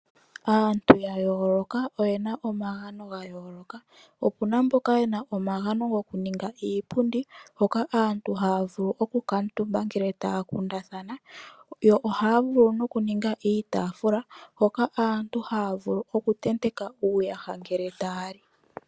Aantu ya yooloka oye na omagano ga yooloka. Opu na mboka ye na omagano gokuninga iipundi, hoka aantu haya vulu okukala omutumba ngele taya kundathana. Ohaya vulu okuninga iitaafula hoka aantu haya vulu okutenteka uuyaha ngele taya li.